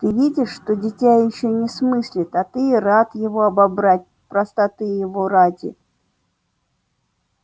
ты видишь что дитя ещё не смыслит а ты и рад его обобрать простоты его ради